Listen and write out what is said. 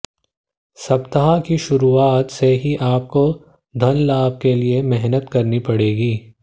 सप्ताह की शुरूआत से ही आपको धनलाभ के लिए मेहनत करनी पड़ेगी